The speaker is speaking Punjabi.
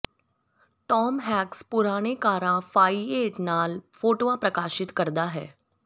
ਟਾਮ ਹੈੈਕਸ ਪੁਰਾਣੇ ਕਾਰਾਂ ਫਾਈਏਟ ਨਾਲ ਫੋਟੋਆਂ ਪ੍ਰਕਾਸ਼ਿਤ ਕਰਦਾ ਹੈ